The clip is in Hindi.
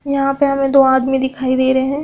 यहां पे हमें दो आदमी दिखाई दे रहे हैं।